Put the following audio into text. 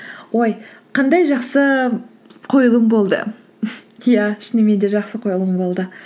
ой қандай жақсы қойылым болды иә шынымен де жақсы қойылым болды